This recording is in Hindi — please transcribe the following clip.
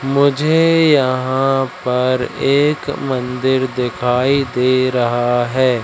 मुझे यहां पर एक मंदिर दिखाई दे रहा है।